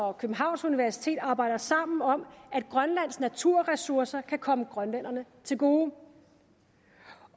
og københavns universiteter arbejder sammen om at grønlands naturressourcer kan komme grønlænderne til gode